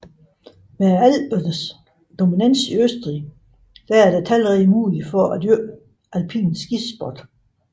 Med Alpernes dominans i Østrig er der talrige muligheder for at dyrke alpin skisport